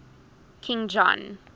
king john